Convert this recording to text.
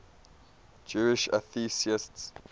jewish atheists